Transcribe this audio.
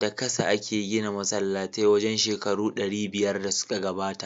Da kasa ake gina masallatai wajen shekaru ɗari biyar da suka gabata.